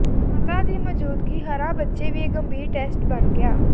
ਮਾਤਾ ਦੀ ਮੌਜੂਦਗੀ ਹਰਾ ਬੱਚੇ ਵੀ ਗੰਭੀਰ ਟੈਸਟ ਬਣ ਗਿਆ